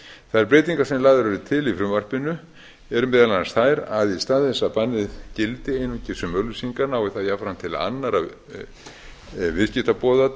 þær breytingar sem lagðar eru til í frumvarpinu eru meðal annars þær að í stað þess að bannið gildi einungis um auglýsingar nái það jafnframt til annarra viðskiptaboða